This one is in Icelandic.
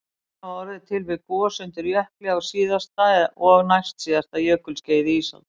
Fjöllin hafa orðið til við gos undir jökli á síðasta og næstsíðasta jökulskeiði ísaldar